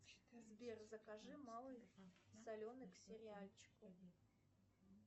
сбер закажи малый соленый к сериальчику